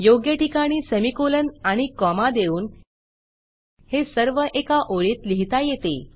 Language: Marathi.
योग्य ठिकाणी सेमीकोलन आणि कॉमा देऊन हे सर्व एका ओळीत लिहिता येते